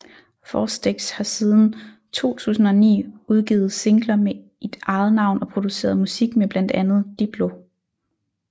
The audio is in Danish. Faustix har siden 2009 udgivet singler i eget navn og produceret musik med blandt andre Diplo